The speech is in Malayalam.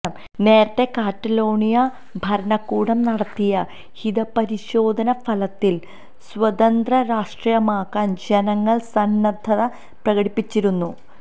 നേരത്തെ കാറ്റലോണിയ ഭരണകൂടം നടത്തിയ ഹിതപരിശോധന ഫലത്തില് സ്വതന്ത്ര രാഷ്ട്രമാകാന് ജനങ്ങള് സന്നദ്ധത പ്രകടിപ്പിച്ചിരുന്നു